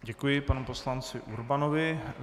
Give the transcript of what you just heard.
Děkuji panu poslanci Urbanovi.